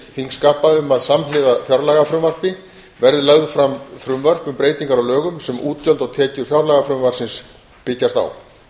þingskapa um að samhliða fjárlagafrumvarpi verði lögð fram frumvörp um breytingar á lögum sem útgjöld og tekjur fjárlagafrumvarpsins byggjast á